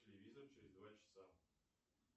телевизор через два часа